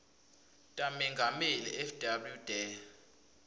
tamengameli fw de